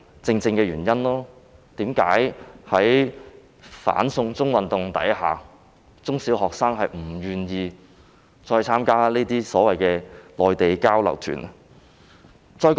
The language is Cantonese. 這正是在"反送中"運動下，中小學生不願意參加內地交流團的原因。